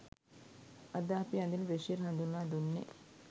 අද අපි අඳින බ්‍රෙෂියර් හඳුන්වා දුන්නෙ.